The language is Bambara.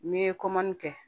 N ye kɛ